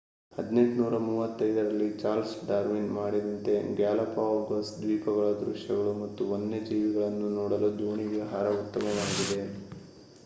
1835 ರಲ್ಲಿ Charles Darwin ಮಾಡಿದಂತೆ Galapagos ದ್ವೀಪಗಳ ದೃಶ್ಯಗಳು ಮತ್ತು ವನ್ಯಜೀವಿಗಳನ್ನು ನೋಡಲು ದೋಣಿ ವಿಹಾರ ಉತ್ತಮವಾಗಿದೆ